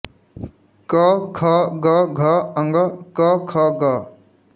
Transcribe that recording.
क ख ग घ ङ क़ ख़ ग़